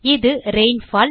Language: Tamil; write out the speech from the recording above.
இது ரெயின்ஃபால்